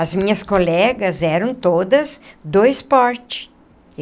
As minhas colegas eram todas do esporte.